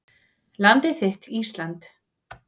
Landið þitt Ísland